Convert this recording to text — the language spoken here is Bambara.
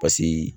Pasiki